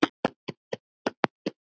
En það væri eftir því.